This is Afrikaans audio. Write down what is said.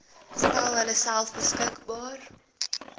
stel hulleself beskikbaar